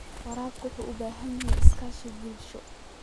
Waraabka wuxuu u baahan yahay iskaashi bulsho.